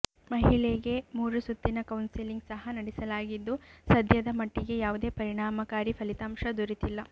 ಮಹಿಳೆಗೆ ಮೂರು ಸುತ್ತಿನ ಕೌನ್ಸೆಲಿಂಗ್ ಸಹ ನಡೆಸಲಾಗಿದ್ದು ಸದ್ಯದ ಮಟ್ಟಿಗೆ ಯಾವುದೆ ಪರಿಣಾಮಕಾರಿ ಫಲಿತಾಂಶ ದೊರೆತಿಲ್ಲ